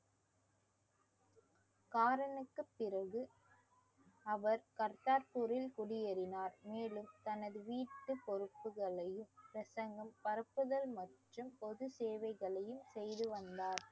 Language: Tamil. காரனுக்கு பிறகு அவர் கர்த்தார்பூரில் குடியேறினார் மேலும் தனது வீட்டு பொறுப்புகளையும் பரப்புதல் மற்றும் பொது சேவைகளையும் செய்து வந்தார்